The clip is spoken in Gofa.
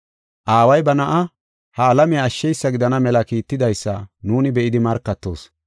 Aaway ba Na7aa, ha alamiya ashsheysa gidana mela kiittidaysa nuuni be7idi markatoos.